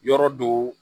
Yɔrɔ do